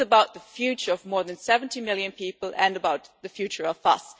This is about the future of more than 70 million people and about the future of us.